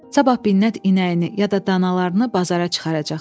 Sabah Binnət inəyini ya da danalarını bazara çıxaracaq.